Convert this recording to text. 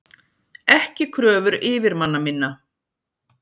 Ekki kröfur yfirmanna minna.